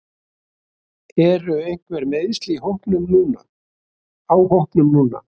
Eru einhver meiðsli á hópnum núna?